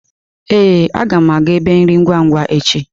Ee, aga m aga ébé nri ngwa-ngwa echi.